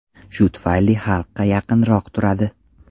Shu tufayli xalqqa yaqinroq turadi.